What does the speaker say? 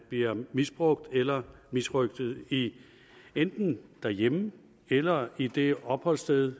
bliver misbrugt eller misrøgtet enten derhjemme eller i det opholdssted